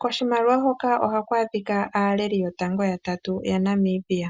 Koshimaliwa hoka ohaku adhikwa aaleli yotango yatatu yaNamibia .